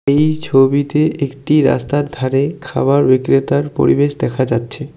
এই ছবিতে একটি রাস্তার ধারে খাবার বিক্রেতার পরিবেশ দেখা যাচ্ছে।